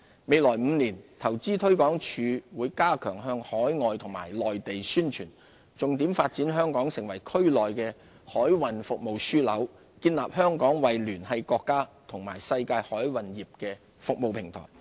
未來5年，投資推廣署會加強向海外及內地宣傳，重點發展香港成為區內的海運服務樞紐，建立香港為聯繫國家與世界海運業的服務平台。